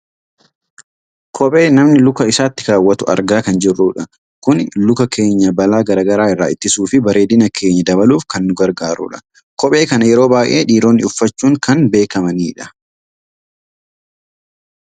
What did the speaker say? kophee namni luka isaatti kaawwatu argaa kan jirrudha. kuni luka keenya balaa gara garaa irraa ittisuufi bareedina keenya dabaluuf kan nu gargaarudha . kophee kana yeroo baayyee dhiironni uffachuun kan beekkamanidha.